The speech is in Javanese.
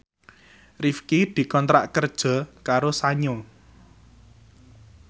Rifqi dikontrak kerja karo Sanyo